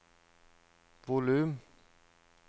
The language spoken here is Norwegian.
volum